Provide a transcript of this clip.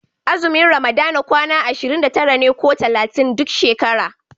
Azumin ramadana kwana ashirin da tara ne ko talatin duk shekara.